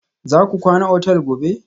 Za ku kwana otal gobe?